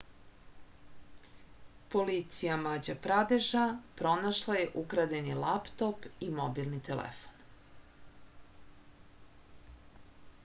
policija mađa pradeša pronašla je ukradeni laptop i mobilni telefon